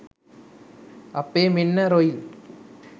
අප්පේ මෙන්න රොයිලි